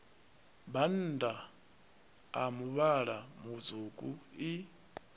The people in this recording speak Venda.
bannda a muvhala mutswuku i